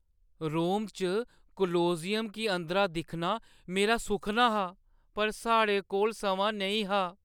रोम च कोलोसियम गी अंदरा दिक्खना मेरा सुखना हा पर साढ़े कोल समां नेईं हा।